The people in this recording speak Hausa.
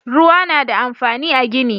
Ruwa na da amfani a gini